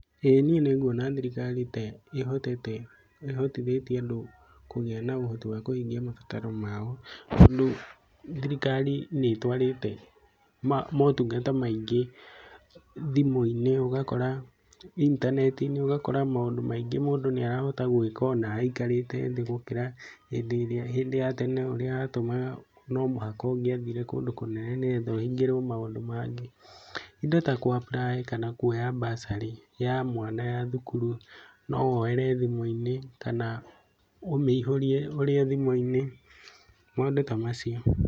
ĩĩ niĩ nĩ nguona thirikari ta ĩhotete, ihotithĩtie andũ kũgĩa na ũhoti wa kuhingia mabataro mao. Tondu thirikari nĩ ĩtwarĩte motungata maingĩ thimũ-inĩ, ũgakora intaneti-inĩ ũgakora maũndũ maingĩ mũndũ nĩ arahota gwĩka ona aikarĩte thĩ gũkĩra hĩndĩ ĩrĩa hĩndĩ ya tene, ũrĩa yatumaga no mũhaka ũngĩathire kundũ kũnene nĩ getha ũhingĩrio maũndũ mangĩ. Indo ta kũ apply kana kuoya bursary ya mwana ya thukuru no woere thimũ-inĩ kana, ũmĩihũrie ũrĩ o thimũ-inĩ, maũndũ ta macio.